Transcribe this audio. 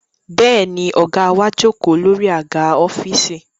Bẹ́ẹ̀ ni, ọ̀gá wa jókòó lórí àga ọ́fíìsì